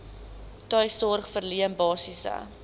tuissorg verleen basiese